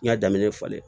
N y'a daminɛ falen